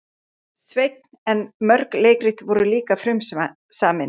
Sveinn en mörg leikrit voru líka frumsamin.